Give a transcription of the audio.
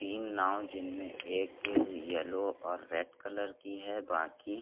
तीन नाव जिनमें एक यलो और रेड कलर की हैं बाकी--